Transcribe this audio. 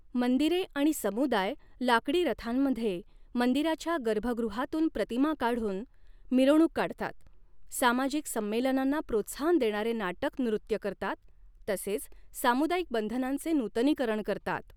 मंदिरे आणि समुदाय लाकडी रथांमध्ये मंदिराच्या गर्भगृहातून प्रतिमा काढून मिरवणूक काढतात, सामाजिक संमेलनांना प्रोत्साहन देणारे नाटक नृत्य करतात तसेच सामुदायिक बंधनांचे नूतनीकरण करतात.